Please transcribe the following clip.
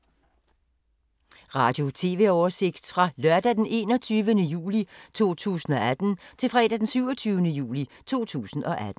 Radio/TV oversigt fra lørdag d. 21. juli 2018 til fredag d. 27. juli 2018